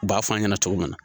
U b'a fɔ an ɲɛna cogo min na